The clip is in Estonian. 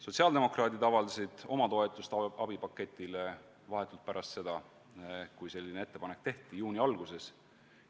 Sotsiaaldemokraadid avaldasid oma toetust abipaketile vahetult pärast seda, kui ettepanek tehti, juuni alguses.